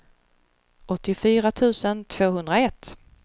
åttiofyra tusen tvåhundraett